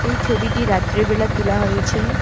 এই ছবিটি রাত্রেবেলা তোলা হয়েছে।